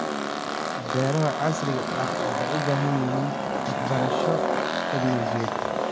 Beeraha casriga ahi waxay u baahan yihiin waxbarasho tignoolajiyadeed.